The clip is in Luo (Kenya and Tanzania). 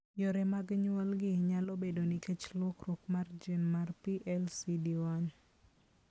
Yore mag nyuolgi nyalo bedo nikech lokruok mar gene mar PLCD1.